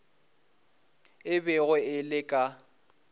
e bego e le ka